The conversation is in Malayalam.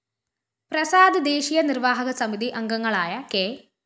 പ്രസാദ് ദേശീയ നിര്‍വാഹക സമിതി അംഗങ്ങളായ കെ